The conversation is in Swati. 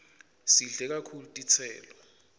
sidle kakhulu titselo